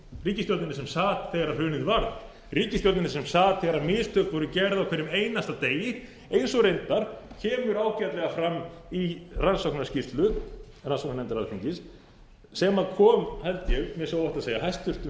ríkisstjórninni sem sat þegar hrunið varð ríkisstjórninni sem sat þegar mistök voru gerð á hverjum einasta degi eins og reyndar kemur ágætlega fram í rannsóknarskýslu rannsóknarnefndar alþingis sem kom held ég að minnsta kosti óhætt að segja hæstvirtur